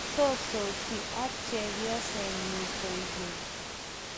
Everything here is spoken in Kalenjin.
kisosoti ak chepyosenyu kwekeny